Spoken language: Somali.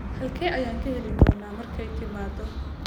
Halkee ayaan kaa heli doonaa markay timaado?